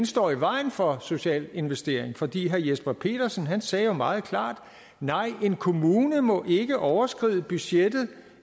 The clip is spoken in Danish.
står i vejen for social investering fordi herre jesper petersen sagde jo meget klart nej en kommune må ikke overskride budgettet